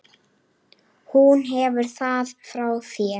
Hún hefur það frá þér.